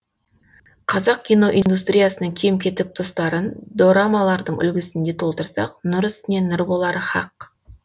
қазақ киноиндустриясының кем кетік тұстарын дорамалардың үлгісінде толтырсақ нұр үстіне нұр болары хақ